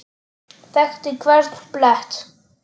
Þekkti hvern blett.